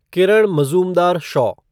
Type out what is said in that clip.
Kiran Mazumdar Shaw